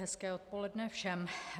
Hezké odpoledne všem.